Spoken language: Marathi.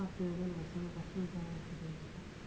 कंटाळा